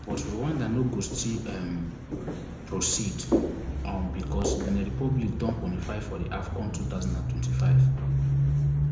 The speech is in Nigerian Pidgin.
but rwanda no go still um proceed um becos benin republic don quanify for di afcon two thousand and twenty-five